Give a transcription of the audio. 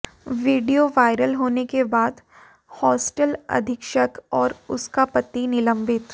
video viral होने के बाद हॉस्टल अधीक्षक और उसका पति निलंबित